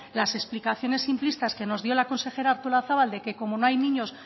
las explicaciones simplistas que nos dio la consejera artolazabal de que como no hay niños